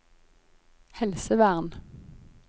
helsevern